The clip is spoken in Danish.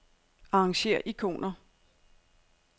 Arrangér ikoner.